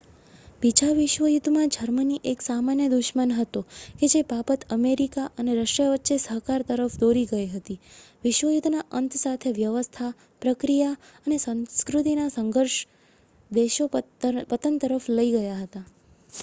બીજા વિશ્વ યુદ્ધમાં જર્મની એક સામાન્ય દુશ્મન હતો કે જે બાબત અમેરિકા અને રશિયા વચ્ચે સહકાર તરફ દોરી ગઈ હતી વિશ્વ યુદ્ધના અંત સાથે વ્યવસ્થા પ્રક્રિયા અને સંસ્કૃતિનાં સંઘર્ષો દેશોને પતન તરફ લઇ ગયા હતા